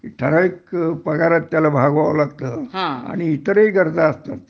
कि ठराविक पगारात त्याला भागवावा लागतं आणि इतरही गरज असतात